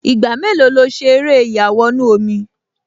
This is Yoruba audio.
Ìgbà mélòó lo ṣe eré ìyàwọnù-omi?